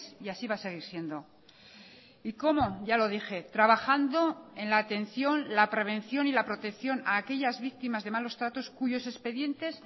y así va a seguir siendo y cómo ya lo dije trabajando en la atención la prevención y la protección a aquellas víctimas de malos tratos cuyos expedientes